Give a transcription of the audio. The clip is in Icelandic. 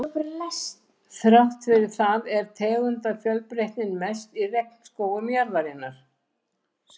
Þrátt fyrir það er tegundafjölbreytnin mest í regnskógum jarðarinnar.